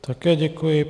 Také děkuji.